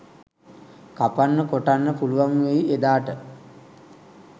කපන්න කොටන්න පුළුවන් වෙයි එදාට.